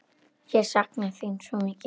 Ég sakna þín svo mikið.